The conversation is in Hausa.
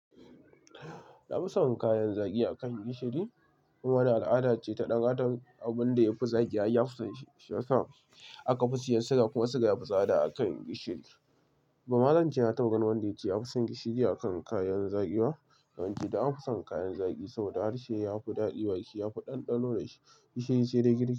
Na fi son kayan zaki a kan gishiri. Kuma wannan al'ada ce ta ɗanadam abin da ya fi zaki ai yafi son shi, shiyasa akafi siyan shuga kuma shuga yafi tsada akan gishiri. Ba ma zan ce na taba ganin wanda yace ya fi son gishiri a kan kayan zaki ba, don an fi son kayan zaki saboda harshe ya fi daɗi baki, ya fi ɗanɗano da shi, gishiri sai dai girki.